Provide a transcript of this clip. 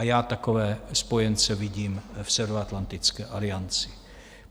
A já takové spojence vidím v Severoatlantické alianci.